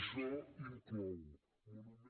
això inclou monuments